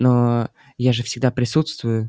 но я же всегда присутствую